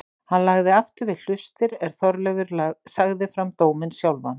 Hann lagði aftur við hlustir er Þorleifur sagði fram dóminn sjálfan